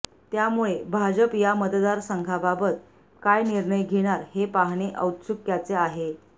त्यामुळे भाजप या मतदारासंघाबाबत काय निर्णय घेणार हे पाहणे औत्स्युक्याचे आहे